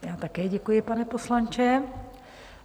Já také děkuji, pane poslanče.